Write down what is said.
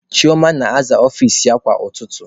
Chioma na-aza ọfici ya kwa ụtụtụ.